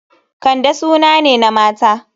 Kande suna ne na mata.